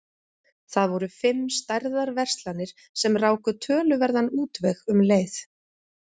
Það voru fimm stærðar verslanir sem ráku töluverðan útveg um leið.